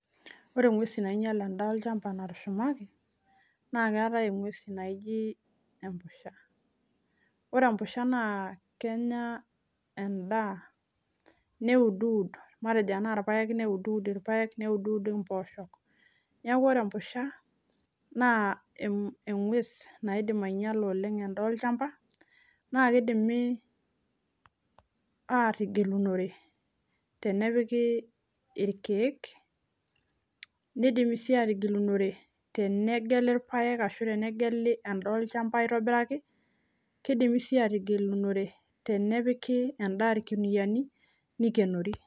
Wore inguesin nainyial endaa olchamba natushumaki, naa keetae engwes naji empushan. Wore empushan naa kenya endaa, neud ud matejo tenaa irpaek neud ud irpaek, neud ud impoosho. Neeku wore empusha, naa engwes naidim ainyiala oleng' endaa olchamba, naa kidimi aatigilunore tenepiki irkiek, nidimi sii aatigilunore tenegeli irpaek ashu tenegeli endaah olchamba aitobiraki, kidimi sii aatigilunore tenepiki endaa irkuniyiani nikionori.